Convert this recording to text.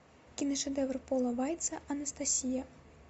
киношедевр пола вайца анастасия